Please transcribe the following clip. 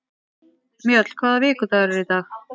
Mjöll, hvaða vikudagur er í dag?